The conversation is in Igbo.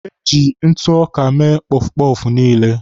Eji ntụ ọka mee pọfpọfụ niile.